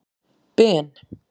Ben